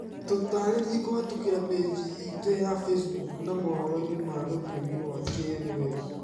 Tũtarĩrie kuvitukĩra paji ituya Facebook na mohoroini ma rũthiomi rwa kithweli.